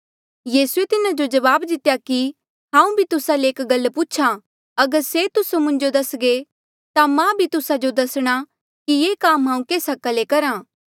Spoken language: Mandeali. यीसूए तिन्हा जो जवाब दितेया कि हांऊँ भी तुस्सा ले एक गल पूछ्हा अगर से तुस्से मुंजो दस्घे ता मां भी तुस्सा जो दसणा कि ये काम हांऊँ केस हका ले करहा